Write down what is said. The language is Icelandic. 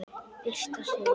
Birta Sif.